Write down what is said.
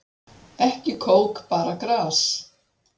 Ekki kók bara gras